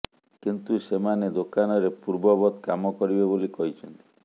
କିନ୍ତୁ ସେମାନେ ଦୋକାନରେ ପୂର୍ବବତ କାମ କରିବେ ବୋଲି କହିଛନ୍ତି